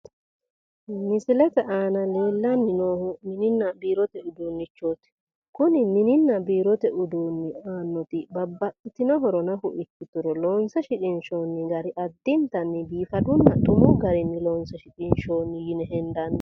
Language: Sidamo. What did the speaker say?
Misilete aana leellanni noori mininna biirote uduunnichooti. Kuni mininna biirote uduunni aannoti babbaxxitinota horo ikkiturono loonse shiqinshoonni gari biifadunna xumu garinni loonse shiqinshoonni yine hendanni.